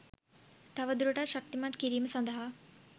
තවදුරටත් ශක්තිමත් කිරීම සඳහා